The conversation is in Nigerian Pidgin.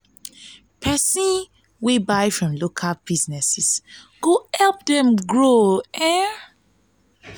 pesin wey buy from local business go go help dem grow.